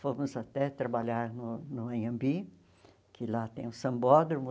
Fomos até trabalhar no no Anhembi, que lá tem o sambódromo.